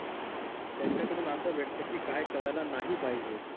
त्यांच्या कडून असं भेटत कि काय करायला नाही पाहिजे.